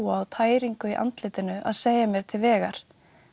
og tæringu í andlitinu að segja mér til vegar